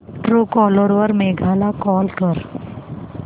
Truecaller वर मेघा ला call कर